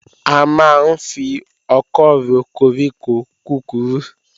A máa ń fi ọkọ́ ro koríko kúkurú